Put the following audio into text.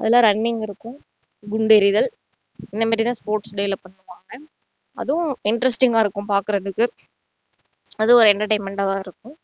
அதுல running இருக்கும் குண்டெறிதல் இந்த மாதிரி தான் sports day ல பண்ணுவாங்க அதுவும் interesting ஆ இருக்கும் பாக்குறதுக்கு அதுவும் ஒரு entertainment ஆ தான் இருக்கும்